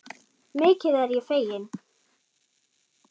Mikið er ég fegin.